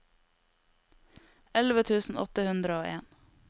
elleve tusen åtte hundre og en